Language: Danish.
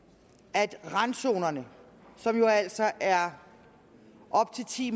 at randzonerne som jo altså er op til ti